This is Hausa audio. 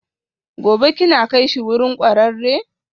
Gobe ​​kina kaishi wurin kwararre?